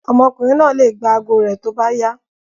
Ọmọkùnrin náà le gba ago rẹ̀ tó bá yá.